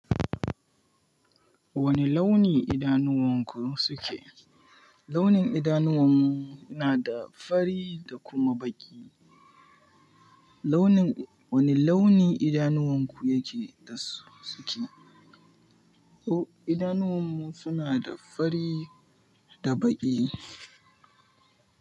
Wane launi idanuwanku suke? Launin idanuwan mu na da fari da kuma baƙi. Wani launi idanuwanku yake da su suke? Oh, idanuwan mu suna da fari da baƙi.